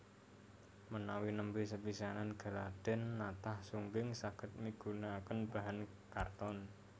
Menawi nembé sepisanan gladhèn natah sungging saged migunakaken bahan karton